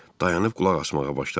Dayanıb qulaq asmağa başladım.